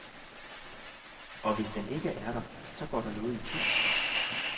Og hvis den ikke er der, så går der noget itu.